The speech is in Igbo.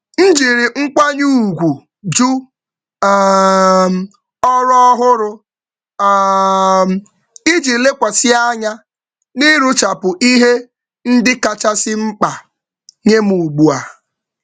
M jiri nkwanye ùgwù jụ ọrụ ọhụrụ iji lekwasị anya na mmecha ihe kacha mkpa m dị ugbu a.